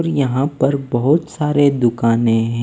और यहां पर बहुत सारे दुकानें--